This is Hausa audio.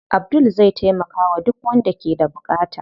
Abdul zai taimakawa duk wanda ke da buƙata.